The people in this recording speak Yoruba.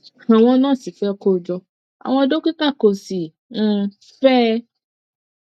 àwọn nurse fẹ kó jọ àwọn dókítà kò sì um fe é